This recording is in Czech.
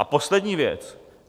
A poslední věc.